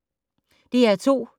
DR2